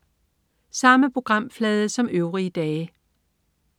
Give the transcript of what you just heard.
Samme programflade som øvrige dage